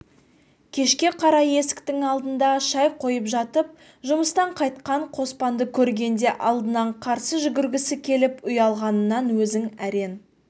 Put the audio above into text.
кешке қарай есіктің алдында шай қойып жатып жұмыстан қайтқан қоспанды көргенде алдынан қарсы жүгіргісі келіп ұялғанынан өзін әрең